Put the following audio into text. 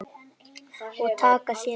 Og taka sér í munn.